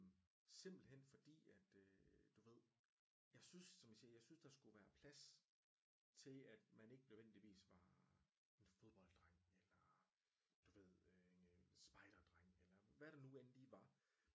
Simpelthen fordi at øh du ved jeg synes som jeg siger jeg synes der skulle være plads til at man ikke nødvendigvis var en fodbolddreng eller du ved øh en spejderdreng eller hvad der nu end lige var